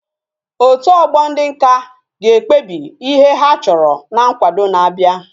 Otu ogbo ndi nka ga ekwebi ihe ha choro na nkwado na abia